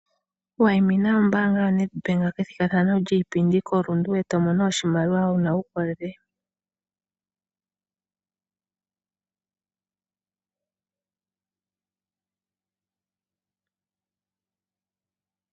Wayimina ombaanga yaNedbank kethigathano lyiipindi koRundu eto mono oshimaliwa wuna uukolele .